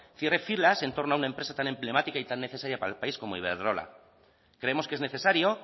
cierre filas en torno a una empresa tan emblemática y tan necesaria para el país como iberdrola creemos que es necesario